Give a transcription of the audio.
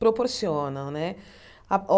Proporcionam, né? Ah